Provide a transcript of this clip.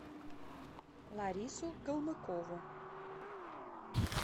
ларису калмыкову